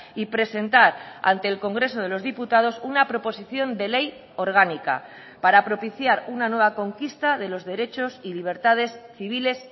y presentar ante el congreso de los diputados una proposición de ley orgánica para propiciar una nueva conquista de los derechos y libertades civiles